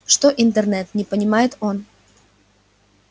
что интернет не понимает он